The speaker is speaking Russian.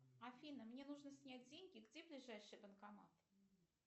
афина мне нужно снять деньги где ближайший банкомат